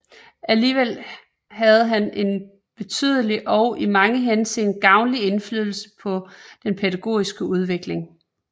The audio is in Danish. Alligevel havde han en betydelig og i mange henseender gavnlig indflydelse på den pædagogiske udvikling